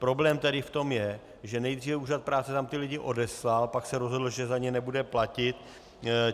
Problém tady v tom je, že nejdříve úřad práce tam ty lidi odeslal, pak se rozhodl, že za ně nebude platit.